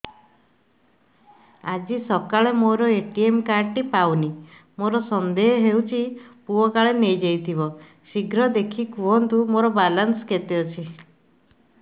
ଆଜି ସକାଳେ ମୋର ଏ.ଟି.ଏମ୍ କାର୍ଡ ଟି ପାଉନି ମୋର ସନ୍ଦେହ ହଉଚି ମୋ ପୁଅ କାଳେ ନେଇଯାଇଥିବ ଶୀଘ୍ର ଦେଖି କୁହନ୍ତୁ ମୋର ବାଲାନ୍ସ କେତେ ଅଛି